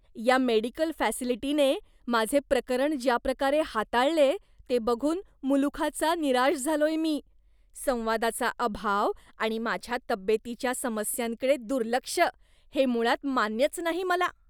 या मेडिकल फॅसिलिटीने माझे प्रकरण ज्या प्रकारे हाताळलेय ते बघून मुलुखाचा निराश झालोय मी. संवादाचा अभाव आणि माझ्या तब्येतीच्या समस्यांकडे दुर्लक्ष हे मुळात मान्यच नाही मला.